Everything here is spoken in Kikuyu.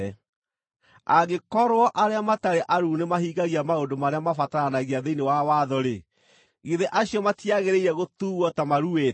Angĩkorwo arĩa matarĩ aruu nĩmahingagia maũndũ marĩa mabataranagia thĩinĩ wa watho-rĩ, githĩ acio matiagĩrĩire gũtuuo ta maruĩte?